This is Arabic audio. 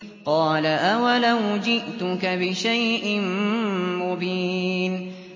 قَالَ أَوَلَوْ جِئْتُكَ بِشَيْءٍ مُّبِينٍ